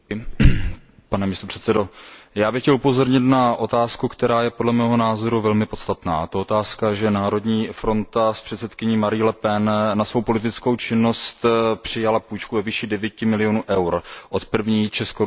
Pane předsedající, já bych chtěl upozornit na otázku, která je podle mého názoru velmi podstatná. A to je otázka, že Národní fronta s předsedkyní Marií Le Penovou na svou politickou činnost přijala půjčku ve výši 9 milionů eur od První česko ruské banky.